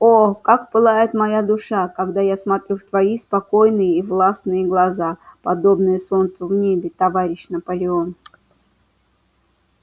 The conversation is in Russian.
о как пылает моя душа когда я смотрю в твои спокойные и властные глаза подобные солнцу в небе товарищ наполеон